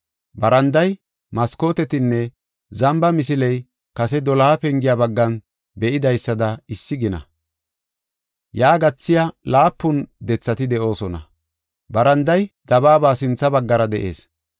Baranday, maskootetinne zamba misiley kase doloha pengiya baggan be7idaysada issi gina. Yaa gathiya laapun dethati de7oosona. Baranday dabaaba sintha baggara de7ees.